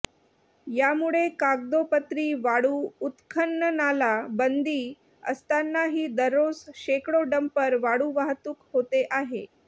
यामुळे कागदोपत्री वाळू उत्खननाला बंदी असतानाही दररोज शेकडो डंपर वाळू वाहतूक होते आहे